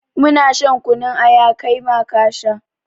Mu na shan kunun aya, kai ma ka sha.